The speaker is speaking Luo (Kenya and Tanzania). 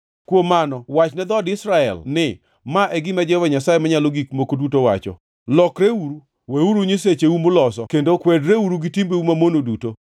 “Kuom mano wachne dhood Israel ni, Ma e gima Jehova Nyasaye Manyalo Gik Moko Duto wacho: Lokreuru! Wereuru gi nyisecheu muloso kendo kwedreuru gi timbeu mamono duto!